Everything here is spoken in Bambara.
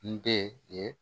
N den ye